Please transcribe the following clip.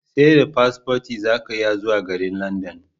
Seda paspoti zaka iya zuwa garin London